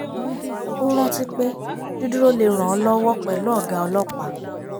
ó rántí pé dídúró lè ràn ọ lọ́wọ́ pẹ̀lú ọ̀gá ọlọ́pàá